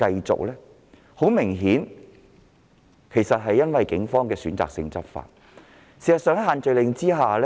這顯然是由於警方選擇性執法所致。